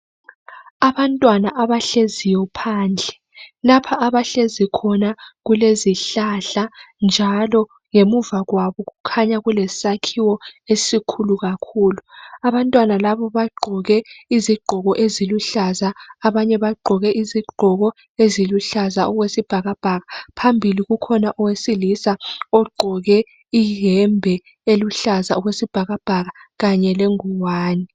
Abantwana abahleziyo phandle, lapha abahlezi khona kulezihlahla njalo ngemuva kwabo kukhanya kulesakhiwo esikhulu kakhulu. Abantwana labo bagqoke impahla eziluhlaza, abanye bagqoke impahla eziluhlaza okwesibhakabhaka. Phambili kulowesilisa ogqoke iyembe eluhlaza okwesibhakabhaka kanye lengwane.